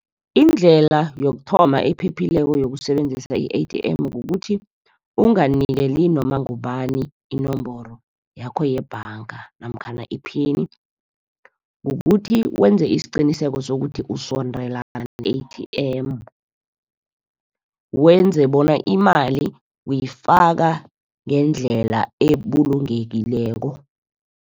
Indlela yokuthoma ephephileko yokusebenzisa i-A_T_M kukuthi, ukunganikeli noma ngubani inomboro yakho yebhanga, namkhana iphini. Kukuthi wenze isiqiniseko sokuthi usondelana ne-A_T_M, wenze bona imali uyifaka ngendlela ebulungekileko.